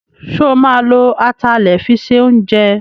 Sọ ma lo atalẹ̀ fi se oúnjẹ?